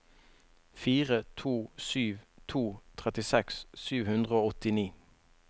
fire to sju to trettiseks sju hundre og åttini